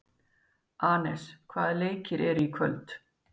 Anes, hvaða leikir eru í kvöld?